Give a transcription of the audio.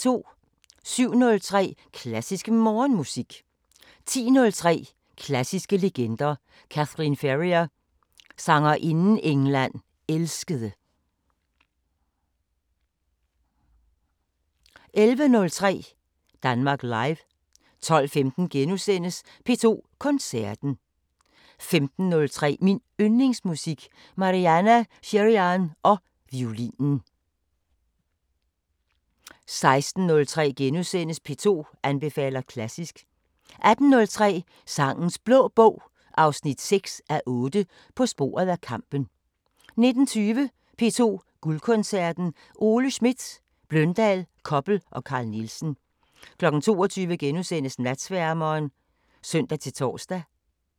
07:03: Klassisk Morgenmusik 10:03: Klassiske legender: Kathleen Ferrier – Sangerinden England elskede 11:03: Danmark Live 12:15: P2 Koncerten * 15:03: Min Yndlingsmusik: Marianna Shirinyan og violinen 16:03: P2 anbefaler klassisk * 18:03: Sangenes Blå Bog 6:8 – På sporet af kampen 19:20: P2 Guldkoncerten: Ole Schmidt, Bløndal, Koppel og Carl Nielsen 22:00: Natsværmeren *(søn-tor)